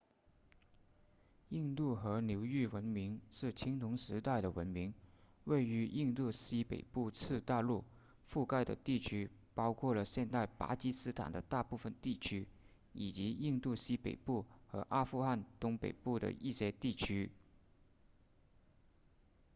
印度河流域文明是青铜时代的文明位于印度西北部次大陆覆盖的区域包括了现代巴基斯坦的大部分地区以及印度西北部和阿富汗东北部的一些地区